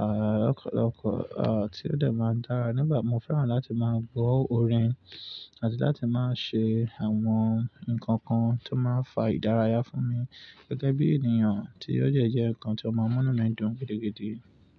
à, lọ́polopo, à, tí ó dà máa ń dára. Nígbà mo fẹ́ràn láti máa gbọ́ orin àti láti máa ṣe àwọn ǹkan kan tó máa ń fa ìdárayá fún mi gẹ́gẹ́ bí ènìyàn tí ó jẹ́ ǹkan tí ọma n mu inumi dùn gidigidi.